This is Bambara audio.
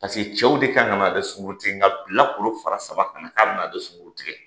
cɛw de ka kan ka na ale sunkurutigɛ nka bilakolo fara saba ka na ka bɛn'ale sunkurutigɛ